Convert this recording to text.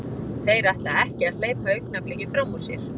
Þeir ætla ekki að hleypa Augnabliki fram úr sér.